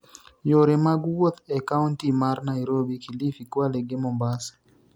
yore mag wuoth e kaonti mar Nairobi, Kilifi ,Kwale gi Mombasa